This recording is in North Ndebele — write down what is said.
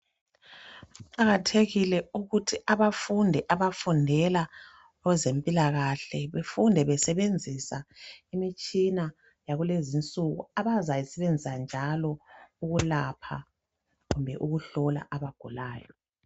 Kuqakathekile ukuthi abafundi abafundela ezempilakahle befunde basebenzisa imitshina yakulezinsuku abazayisebenzisa njalo ukulapha kumbe ukuhlola abagulayo.